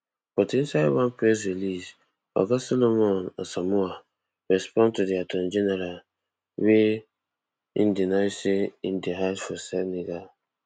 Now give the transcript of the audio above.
but inside one press release oga solomon asamoah respond to di attorney general wia im deny say im dey hide for senegal